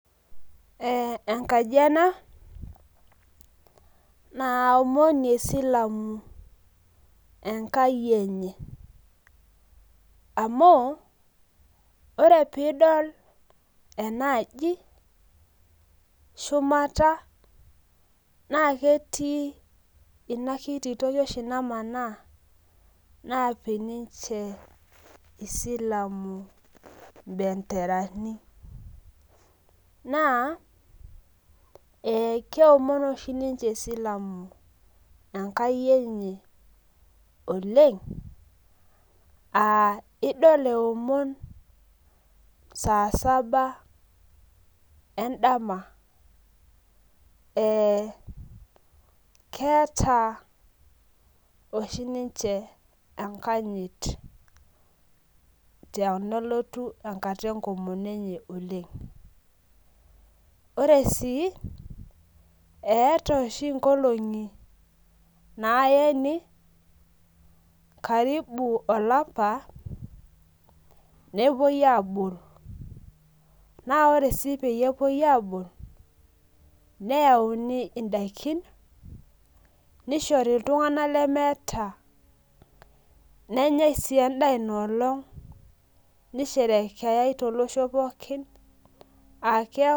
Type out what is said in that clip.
Eenkaji ena naomonie esilamu enkai enye amu ore peidol ena aji shumata naa ketii enakiti toki oshi namaana napik ninje esilamu benderani naa keomon oshi ninche esilamu enkai enye oleng aa edol elomon saa Saba endama ee keeta oshi ninche enkajit tenelotu enkata enkomono enye oleng ore sii etaa oshi nkolong'i naene karibu olapa mepuoi abol naa ore sii pee epuoito abol neyauni edaikin nishori iltung'ana lemeeta nenyai sii endaa enolog nisherekeyai tolosho pookin ake